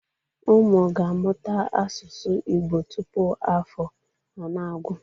Ụmụ ga-amụta asụsụ Igbo tupu afọ a anagwụ.